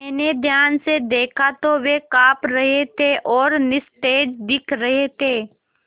मैंने ध्यान से दखा तो वे काँप रहे थे और निस्तेज दिख रहे थे